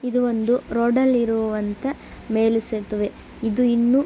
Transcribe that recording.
ಇದೊಂದು ರೋಡ್ ಅಲ್ಲಿ ಇರುವಂತಹ ಮೇಲು ಸೇತುವೆ ಇದು ಇನ್ನು--